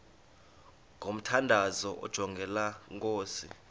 ngomthandazo onjengalo nkosi